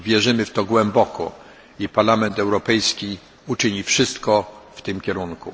Wierzymy w to głęboko i Parlament Europejski uczyni wszystko w tym kierunku.